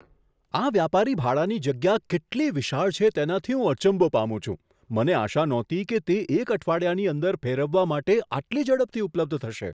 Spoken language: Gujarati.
આ વ્યાપારી ભાડાની જગ્યા કેટલી વિશાળ છે તેનાથી હું અચંબો પામું છું. મને આશા નહોતી કે તે એક અઠવાડિયાની અંદર ફેરવવા માટે આટલી ઝડપથી ઉપલબ્ધ થશે!